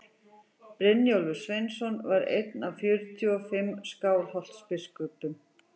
brynjólfur sveinsson var einn af fjörutíu og fimm skálholtsbiskupum